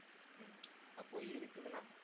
ஹம் அப்போ இருக்குதுன்னா